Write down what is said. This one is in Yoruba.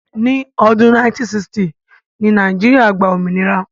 Ní ọdún 1960 ni Nàìjíríà gba òmìnira.